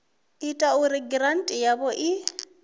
ita uri giranthi yavho i